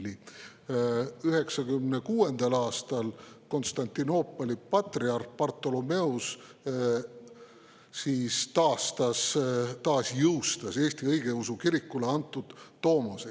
1996. aastal Konstantinoopoli patriarh Bartholomeos taasjõustas Eesti õigeusu kirikule antud tomose.